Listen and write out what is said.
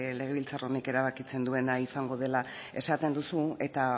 legebiltzar honek erabakitzen duena izango dela esaten duzu eta